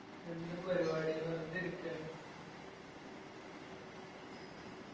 എന്ത് പരുവാടി വെർതെ ഇരിക്കാന്ന്